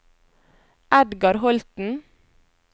Edgar Holten